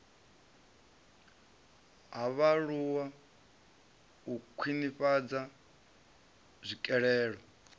ha vhaaluwa u khwinifhadza tswikelelo